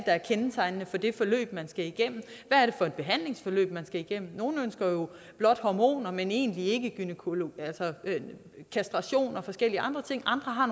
er kendetegnende for det forløb man skal igennem hvad er for et behandlingsforløb man skal igennem nogle ønsker jo blot hormoner men egentlig ikke kastration og forskellige andre ting andre har